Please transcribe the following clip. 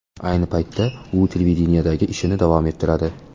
Ayni paytda, u televideniyedagi ishini davom ettiradi.